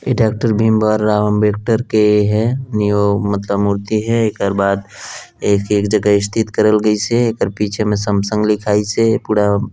ए doctor Bhim बार राव अंबेडकर के है मतलब मूर्ति है एकर बाद एक -एक जगह स्थित करल गइसे एकर पीछे में सैमसंग लिखाई से पूड़ा --